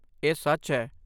ਇਹ ਸੱਚ ਹੈ।